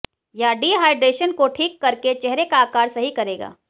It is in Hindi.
यह डीहाइड्रेशन को ठीक कर के चेहरे का आकार सही करेगा